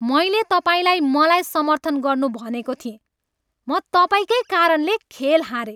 मैले तपाईँलाई मलाई समर्थन गर्नु भनेको थिएँ! म तपाईँकै कारणले खेल हारेँ!